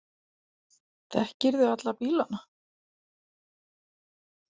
Þekkirðu alla bílana?